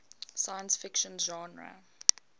science fiction genre